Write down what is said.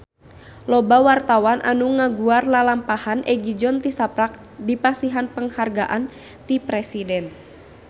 Loba wartawan anu ngaguar lalampahan Egi John tisaprak dipasihan panghargaan ti Presiden